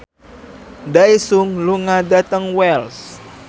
Daesung lunga dhateng Wells